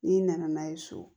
N'i nana n'a ye so